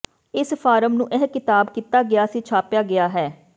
ਇਸ ਫਾਰਮ ਨੂੰ ਇਹ ਕਿਤਾਬ ਕੀਤਾ ਗਿਆ ਸੀ ਛਾਪਿਆ ਗਿਆ ਹੈ